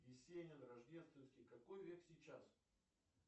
есенин рождественский какой век сейчас